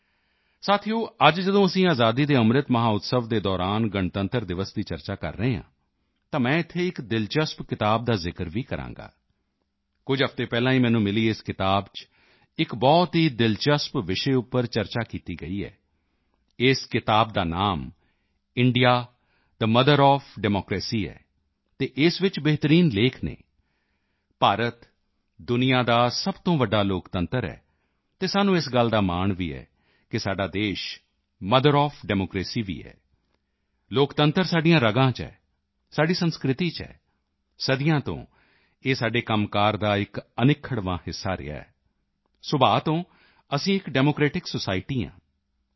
ਸਾਥੀਓ ਅੱਜ ਜਦੋਂ ਅਸੀਂ ਆਜ਼ਾਦੀ ਕੇ ਅੰਮ੍ਰਿਤ ਮਹੋਤਸਵ ਦੇ ਦੌਰਾਨ ਗਣਤੰਤਰ ਦਿਵਸ ਦੀ ਚਰਚਾ ਕਰ ਰਹੇ ਹਾਂ ਤਾਂ ਮੈਂ ਇੱਥੇ ਇੱਕ ਦਿਲਚਸਪ ਕਿਤਾਬ ਦਾ ਜ਼ਿਕਰ ਵੀ ਕਰਾਂਗਾ ਕੁਝ ਹਫ਼ਤੇ ਪਹਿਲਾਂ ਹੀ ਮੈਨੂੰ ਮਿਲੀ ਇਸ ਕਿਤਾਬ ਚ ਇੱਕ ਬਹੁਤ ਹੀ ਦਿਲਚਸਪ ਵਿਸ਼ੇ ਉੱਪਰ ਚਰਚਾ ਕੀਤੀ ਗਈ ਹੈ ਇਸ ਕਿਤਾਬ ਦਾ ਨਾਮ ਇੰਡੀਆਥੇ ਮੋਥਰ ਓਐਫ ਡੈਮੋਕ੍ਰੇਸੀ ਹੈ ਅਤੇ ਇਸ ਵਿੱਚ ਬਿਹਤਰੀਨ ਲੇਖ ਹਨ ਭਾਰਤ ਦੁਨੀਆ ਦਾ ਸਭ ਤੋਂ ਵੱਡਾ ਲੋਕਤੰਤਰ ਹੈ ਅਤੇ ਸਾਨੂੰ ਇਸ ਗੱਲ ਦਾ ਮਾਣ ਵੀ ਹੈ ਕਿ ਸਾਡਾ ਦੇਸ਼ ਮੋਥਰ ਓਐਫ ਡੈਮੋਕ੍ਰੇਸੀ ਵੀ ਹੈ ਲੋਕਤੰਤਰ ਸਾਡੀਆਂ ਰਗ਼ਾਂ ਚ ਹੈ ਸਾਡੀ ਸੰਸਕ੍ਰਿਤੀ ਚ ਹੈ ਸਦੀਆਂ ਤੋਂ ਇਹ ਸਾਡੇ ਕੰਮਕਾਰ ਦਾ ਇੱਕ ਅਨਿੱਖੜ੍ਹਵਾਂ ਹਿੱਸਾ ਰਿਹਾ ਹੈ ਸੁਭਾਅ ਤੋਂ ਅਸੀਂ ਇੱਕ ਡੈਮੋਕ੍ਰੇਟਿਕ ਸੋਸਾਇਟੀ ਹਾਂ ਡਾ